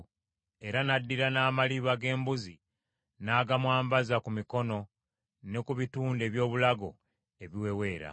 era n’addira n’amaliba g’embuzi n’agamwambaza ku mikono ne ku bitundu ebyobulago ebiweweera.